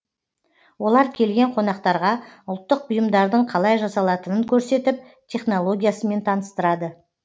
олар келген қонақтарға ұлттық бұйымдардың қалай жасалатынын көрсетіп технологиясымен таныстырады